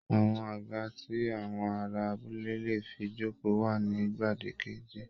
Àwọn àga tí àwọn ará abúlé lè fi jókòó wà ní gbàgede